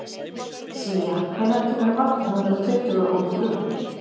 Sía, hvenær kemur vagn númer tuttugu og þrjú?